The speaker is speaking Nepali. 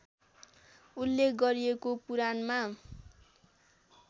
उल्लेख गरिएको पुराणमा